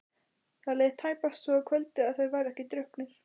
Það leið tæpast svo kvöld að þeir væru ekki drukknir.